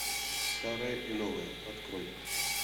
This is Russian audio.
старое и новое открой